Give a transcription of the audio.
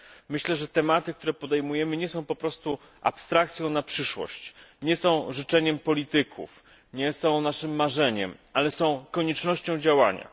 Myślę, że tematy, które podejmujemy, nie są abstrakcją na przyszłość, nie są życzeniem polityków, nie są naszym marzeniem, ale są koniecznością działania.